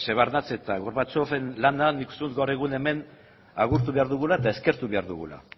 shevardnadze eta gorbachoven lana nik uste dut gaur egun hemen agurtu behar dugula eta eskertuko behar dugula